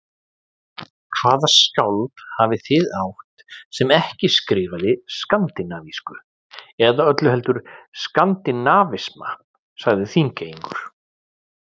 Hvaða skáld hafið þið átt, sem ekki skrifaði skandinavísku eða öllu heldur skandinavisma, sagði Þingeyingur.